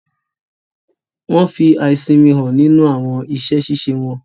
Wọn fí aisinmi hàn nínú awọn iṣẹ-ṣiṣe wọn.